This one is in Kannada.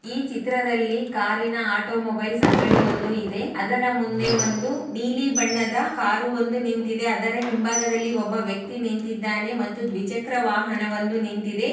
ಈ ಚಿತ್ರದಲ್ಲಿ ಕಾರಿನ ಆಟೋ ಮೋಬೈಲ್ಸ್ ಅಂಗಡಿ ಒಂದು ಇದೆ. ಅದರ ಮುಂದೆ ನೀಲಿನ ಬಣ್ಣದ ಕಾರು ಒಂದು ನಿಂತಿದೆ ಅದರ ಹಿಂಭಾಗದಲ್ಲಿ ಒಬ್ಬ ವ್ಯಕ್ತಿ ನಿಂತಿದಾನೆ ಮತ್ತು ದಿವ್ಚಕ್ರ ವಾಹನ ಒಂದು ನಿಂತಿದೆ.